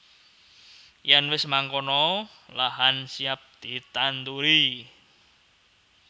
Yen wis mangkono lahan siap ditanduri